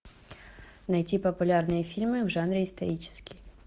найти популярные фильмы в жанре исторический